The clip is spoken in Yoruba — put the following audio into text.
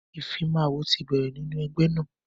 ìfimawo ti bẹ̀rẹ̀ nínú ẹgbẹ́ náà.